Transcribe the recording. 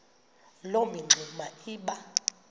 loo mingxuma iba